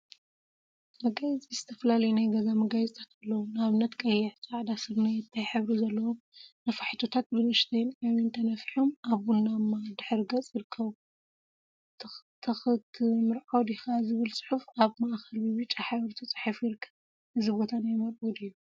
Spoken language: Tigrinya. መጋየፂ ዝተፈላለዩ ናይ ገዛ መጋየፂታት አለው፡፡ ንአብነት ቀይሕ፣ ፃዕዳን ስርናየታይ ሕብሪ ዘለዎም ነፋሒቶታት ብንእሽተይን ዓብይን ተነፊሖም አብ ቡናማ ድሕረ ገፅ ይርከቡ፡፡ ተክትምርዖ ዲካ ዝብል ፅሑፍ አብ ማእከል ብብጫ ሕብሪ ተፃሒፉ ይርከብ፡፡ እዚ ቦታ ናይ መርዑ ድዩ?